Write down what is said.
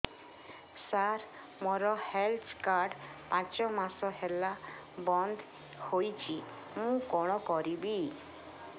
ସାର ମୋର health card ପାଞ୍ଚ ମାସ ହେଲା ବଂଦ ହୋଇଛି ମୁଁ କଣ କରିବି